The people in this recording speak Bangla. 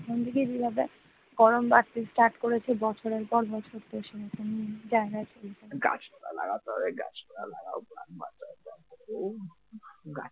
গাছপালা লাগাতে হবে গাছপালা লাগাও প্রাণ বাঁচাও যা গরম। গাছপালা